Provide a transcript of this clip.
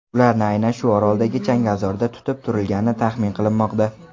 Ularni aynan shu oroldagi changalzorda tutib turilgani taxmin qilinmoqda.